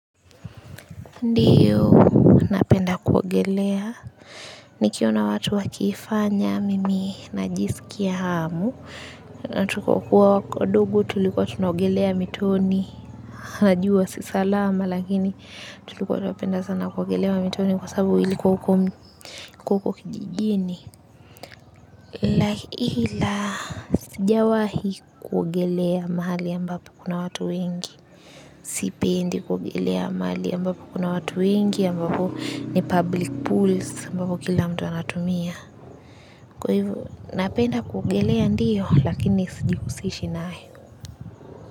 Ndiyo, napenda kuogelea, nikiona watu wakiifanya, mimi najisikia hamu, natukokuwa dogo tulikuwa tunaogelea mitoni, najua si salama, lakini tulikuwa tunapenda sana kuogelea mitoni kwa sababu ilikuwa huko kijijini. La ila sijawahi kuogelea mahali ambapo kuna watu wengi sipendi kuogelea mahali ambapo kuna watu wengi ambapo ni public pools ambapo kila mtu anatumia kwa hivo napenda kuogelea ndiyo lakini siji husishi nayo.